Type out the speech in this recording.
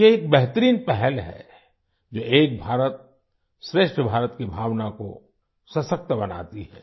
यह एक बेहतरीन पहल है जो एक भारतश्रेष्ठ भारत की भावना को सशक्त बनाती है